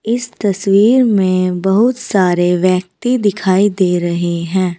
इस तस्वीर में बहुत सारे व्यक्ति दिखाई दे रहे हैं।